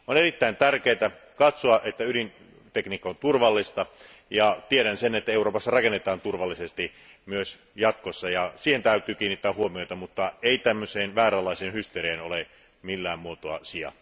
On erittäin tärkeää varmistaa, että ydintekniikka on turvallista, ja tiedän sen, että Euroopassa rakennetaan turvallisesti myös jatkossa ja siihen täytyy kiinnittää huomiota mutta tällaiseen vääränlaiseen hysteriaan ei ole millään muotoa syytä.